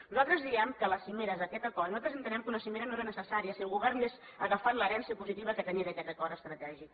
nosaltres diem que la cimera és aquest acord i nosaltres entenem que una cimera no era necessària si el govern hagués agafat l’herència positiva que tenia d’aquest acord estratègic